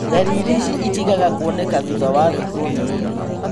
Ndariri ici itigaga kuoneka thutha wa thikũ nini